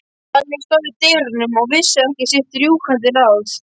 Lalli stóð í dyrunum og vissi ekki sitt rjúkandi ráð.